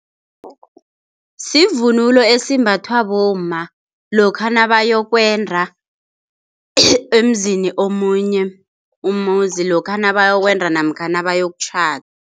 Sivunulo esimbathwa bomma lokha nabayokwenda emzini omunye, umuzi lokha nabayokwenda namkha nabayokutjhada.